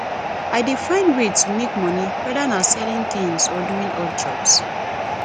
i dey find ways to make monie whether na selling tings or doing odd jobs